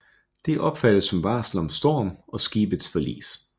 Det opfattes som varsel om storm og skibets forlis